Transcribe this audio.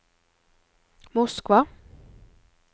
Moskva